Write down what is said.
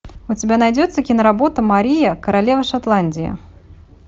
у тебя найдется киноработа мария королева шотландии